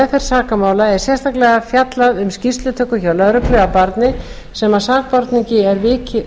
meðferð sakamála er sérstaklega fjallað um skýrslutöku hjá lögreglu af barni sem sakborningi